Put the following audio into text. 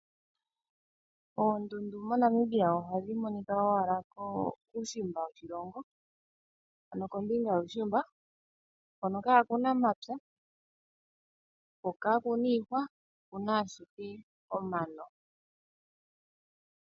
Oondundu mo Namibia ohadhi monika owala kuushimba woshilongo ano kombinga yuushimba hono kaakuna mapya ko kakuna iihwa okuna ashike omano.